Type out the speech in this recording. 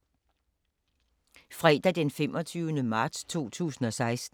Fredag d. 25. marts 2016